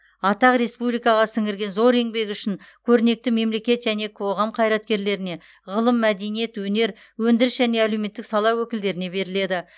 атақ республикаға сіңірген зор еңбегі үшін көрнекті мемлекет және қоғам қайраткерлеріне ғылым мәдениет өнер өндіріс және әлеуметтік сала өкілдеріне беріледі